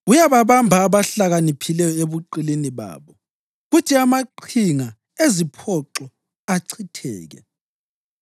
Uyababamba abahlakaniphileyo ebuqilini babo, kuthi amaqhinga eziphoxo achitheke.